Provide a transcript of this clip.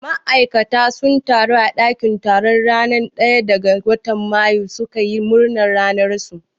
Ma'aikata sun taru a ɗakin taro ranar ɗaya ga watan mayu su ka yi murna ranar su.